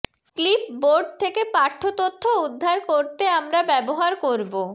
clipboard থেকে পাঠ্য তথ্য উদ্ধার করতে আমরা ব্যবহার করব